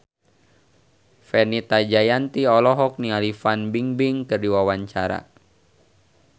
Fenita Jayanti olohok ningali Fan Bingbing keur diwawancara